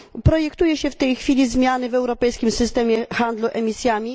Planuje się w tej chwili zmiany w europejskim systemie handlu emisjami.